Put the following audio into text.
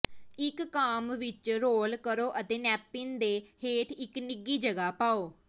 ਇਕ ਕਾੱਮ ਵਿਚ ਰੋਲ ਕਰੋ ਅਤੇ ਨੈਪਿਨ ਦੇ ਹੇਠ ਇਕ ਨਿੱਘੀ ਜਗ੍ਹਾ ਪਾਓ